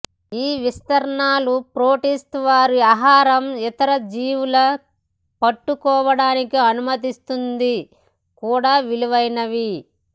ఈ విస్తరణలు ప్రోటేస్ట్ వారు ఆహారం ఇతర జీవుల పట్టుకోవటానికి అనుమతిస్తుంది కూడా విలువైనవి